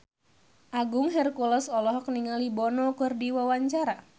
Agung Hercules olohok ningali Bono keur diwawancara